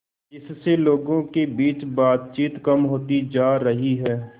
जिससे लोगों के बीच बातचीत कम होती जा रही है